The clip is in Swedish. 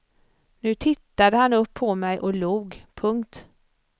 Nu tittade han upp på mig och log. punkt